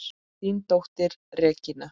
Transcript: Þín dóttir, Regína.